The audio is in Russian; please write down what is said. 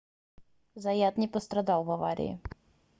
заят не пострадал в аварии